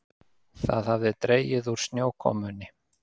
Það hafði dregið úr snjókomunni.